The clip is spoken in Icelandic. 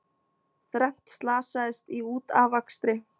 Þrennt slasaðist í útafakstri